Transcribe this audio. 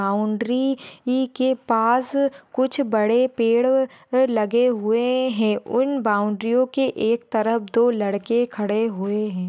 Boundary ई के पास कुछ बड़े पेड़ अह लगे हुए है उन बाउंड्रीओं के एक तरफ दो लड़के खड़े हुए है।